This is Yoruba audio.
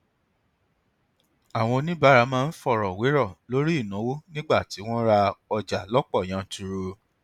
àwọn oníbàárà máa ń fọrọ wérọ lórí ìnáwó nígbà tí wọn ń ra ọjà lọpọ yanturu